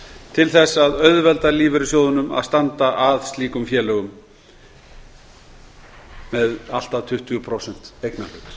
til þess að auðvelda lífeyrissjóðunum að standa að slíkum félögum með allt að tuttugu prósent eignarhlut